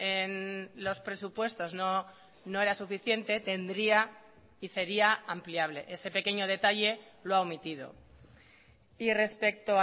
en los presupuestos no era suficiente tendría y sería ampliable ese pequeño detalle lo ha omitido y respecto